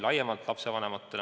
Ka lapsevanematele laiemalt.